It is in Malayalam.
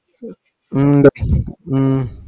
ഹും ഇണ്ട് ഉം